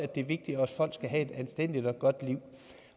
det vigtigt at folk skal have et anstændigt og godt liv